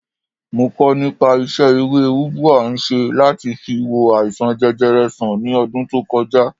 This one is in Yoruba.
Mo kọ nípa isẹ ewé ubwa ń ṣe láti fi wo àìsàn jẹjẹrẹ sàn ní ọdún tó koja